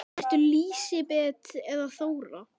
Ertu Lísibet eða Þóra?